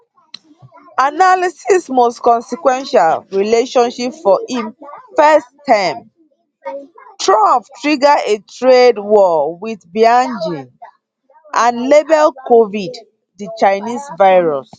analysis most consequential relationship for im first term trump trigger a trade war wit beijing and label covid di chinese virus